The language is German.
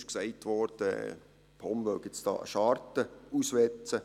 Es wurde gesagt, die POM wolle jetzt dort eine Scharte auswetzen.